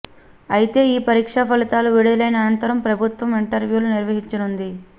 అయితే ఈ పరీక్ష ఫలితాలు విడుదలైన అనంతరం ప్రభుత్వం ఇంటర్వ్యూలు నిర్వహించనుంది